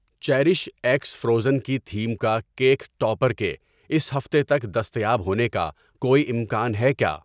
Cherish x Frozen کی theme کا cake topper کے اس ہفتے تک دستیاب ہونے کا کوئی امکان ہے کیا؟